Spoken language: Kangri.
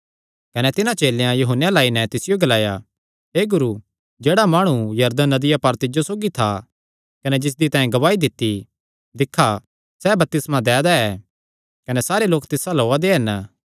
कने तिन्हां चेलेयां यूहन्ने अल्ल आई नैं तिसियो ग्लाया हे गुरू जेह्ड़ा माणु यरदन नदिया पार तिज्जो सौगी था कने जिसदी तैं गवाही दित्ती दिक्खा सैह़ बपतिस्मा दै दा ऐ कने सारे लोक तिस अल्ल ओआ दे हन